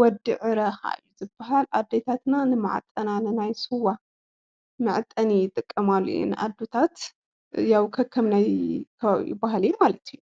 ወዲ ዕረ ኸዓ እዩ ዝባሃል ኣዴታትና ንማዕጠና ንስዋ መዕጠኒ ይጥቐማሉ እየን ኣዴታት ያው ከከም ከባቢኡባህሊ ማለት እዩ።